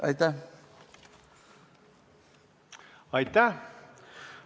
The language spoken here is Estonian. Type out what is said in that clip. Aitäh!